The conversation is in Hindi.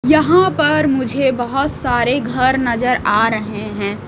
यहां पर मुझे बहोत सारे घर नजर आ रहे हैं।